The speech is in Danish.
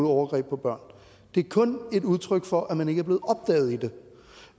overgreb på børn det er kun et udtryk for at man ikke